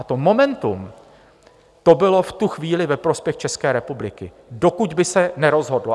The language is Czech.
A to momentum, to bylo v tu chvíli ve prospěch České republiky, dokud by se nerozhodlo.